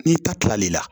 N'i ta tilal'i la